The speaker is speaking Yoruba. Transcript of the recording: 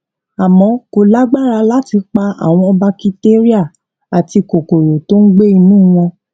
àmó kó lágbára láti pa àwọn bakitéríà àti kòkòrò tó gbé inú wọn